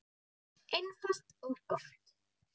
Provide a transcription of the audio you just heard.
Einfalt og gott.